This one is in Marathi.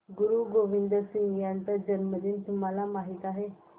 गुरु गोविंद सिंह यांचा जन्मदिन तुम्हाला माहित आहे